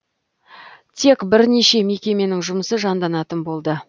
тек бірнеше мекеменің жұмысы жанданатын болды